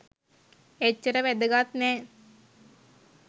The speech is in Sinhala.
එච්චර වැදගත් නෑ